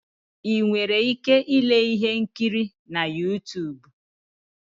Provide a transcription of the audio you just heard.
Ị nwere ike ile ihe nkiri na Yutub